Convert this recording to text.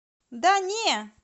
да не